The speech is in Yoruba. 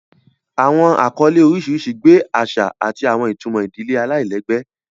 Awọn akọle oriṣiriṣi gbe aṣa ati awọn itumọ idile alailẹgbẹ.